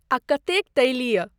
आ कतेक तैलीय।